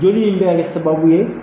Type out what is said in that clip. Joli in bɛ ka kɛ sababu ye.